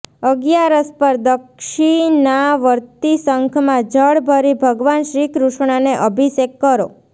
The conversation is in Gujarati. અગિયારસ પર દક્ષિનાવર્તી શંખમાં જળ ભરી ભગવાન શ્રીકૃષ્ણને અભિષેક કરો